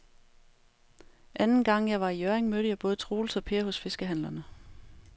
Anden gang jeg var i Hjørring, mødte jeg både Troels og Per hos fiskehandlerne.